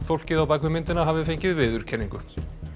fólkið á bak við myndina hafi fengið viðurkenningu